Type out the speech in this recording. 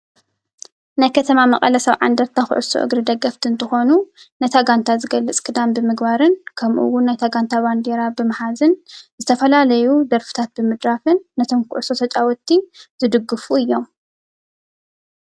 ናይ ከተማ መቀለ ሰብዓ አንደርታ ኩዕሶ እግሪ ደገፍቲ እንትኮኑ፣ ነታ ጋንታ ንምግላፅ ክዳን ብምግባርን ከምኡ እውን ናይታ ጋንታ ባንዴራ ብምሓዝን ዝተፈላለዩ ደርፊታት ብምድራፍን ነቶም ኩዕሾ ተፃወቲ ዝድግፉ እዮም።